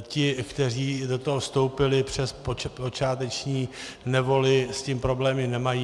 ti, kteří do toho vstoupili, přes počáteční nevoli s tím problémy nemají.